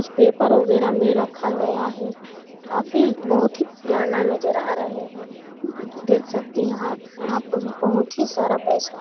paper वगैरा में रखा गया है काफी बहुत ही पुराना नजर आ रहे हैं देख सकते हैं यहाँ यहाँ पर बहुत ही सारा पैसा--